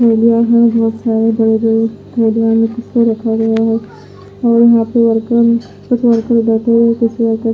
अ लोहे अ अ लोहे से ऑर्डर किया --